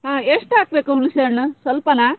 ಹಾ ಎಷ್ಟಾಗ್ಬೇಕು ಹುಣ್ಸೆ ಹಣ್ಣು ಸ್ವಲ್ಪನಾ?